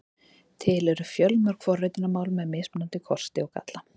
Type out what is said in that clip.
Til eru fjölmörg forritunarmál með mismunandi kosti og galla.